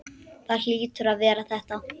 Það hlýtur að vera þetta.